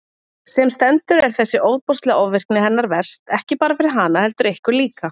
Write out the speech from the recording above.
Sem stendur er þessi ofboðslega ofvirkni hennar verst, ekki bara fyrir hana, heldur ykkur líka.